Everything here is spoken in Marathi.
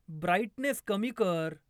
ब्राईटनेस कमी कर